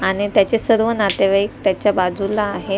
आणि त्याचे सर्व नातेवाईक त्याच्या बाजूला आहे.